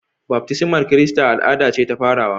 Baftismar Kirista al'ada ce ta farawa